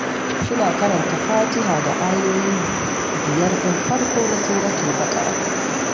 Suna karanta fatiha da ayoyi biyar ɗin farko na Suratul Baƙarah